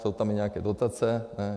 Jsou tam i nějaké dotace, ne?